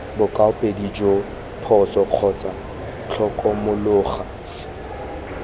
bokaopedi joo phoso kgotsa tlhokomologo